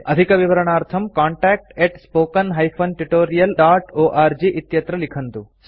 अधिकविवरणार्थं contactspoken tutorialorg इत्यत्र लिखन्तु